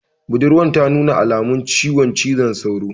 Budurwan ta nuna alamun ciwon cizon sauro